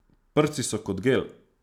Prsti so kot gel.